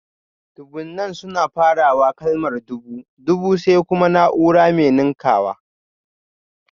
Dubunnan suna farawa da kalmar dubu (dubu), sai kuma naúrar mai ninkawa